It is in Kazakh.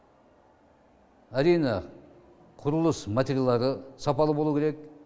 әрине құрылыс материалдары сапалы болу керек